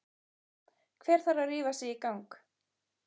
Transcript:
Hver þarf að rífa sig í gang?